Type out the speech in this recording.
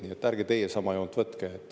Nii et ärge teie sama joont võtke.